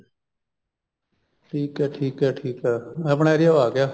ਠੀਕ ਐ ਠੀਕ ਐ ਠੀਕ ਐ ਆਪਣਾ area ਓ ਆ ਗਿਆ